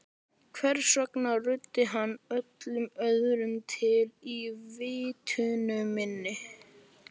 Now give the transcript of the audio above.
Hvers vegna ruddi hann öllu öðru til í vitund minni?